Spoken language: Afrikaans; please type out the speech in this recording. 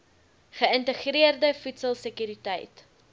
geïntegreerde voedsel sekuriteit